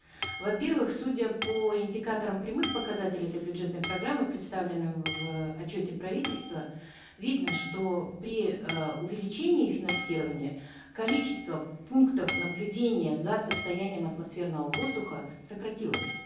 во первых судя по индикаторам прямых показателей этой бюджетной программы представленном в отчете правительства видно что при э увеличении финансирования количество пунктов наблюдения за состоянием атмосферного воздуха сократилось